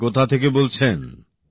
আপনি কোথা থেকে বলছেন